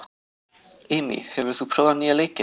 Amy, hefur þú prófað nýja leikinn?